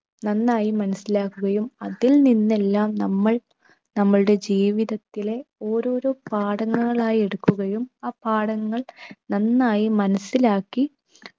നന്നായി മനസിലാക്കുകയും അതിൽ നിന്ന് എല്ലാം നമ്മൾ നമ്മുടെ ജീവിതത്തിലെ ഓരോരോ പാഠങ്ങൾ ആയെടുക്കുകയും ആ പാഠങ്ങൾ നന്നായി മനസിലാക്കി